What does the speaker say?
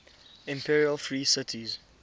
imperial free cities